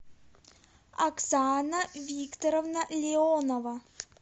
оксана викторовна леонова